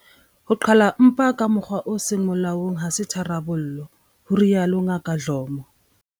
Ho qhala mpa ka mokgwa o seng molaong ha se tharollo, o rialo Ngaka Dlomo.